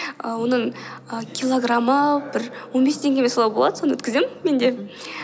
а оның ііі килограмы бір он бес теңге ме солай болады соны өткіземін мен де мхм